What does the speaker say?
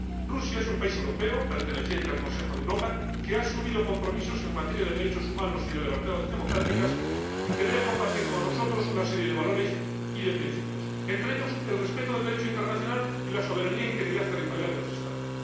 Rusia es un país europeo, perteneciente al Consejo de Europa, que ha asumido compromisos en materia de derechos humanos y de libertades democráticas y que debe compartir con nosotros una serie de valores y de principios, entre ellos el respeto del Derecho internacional y la soberanía e integridad territorial de los Estados.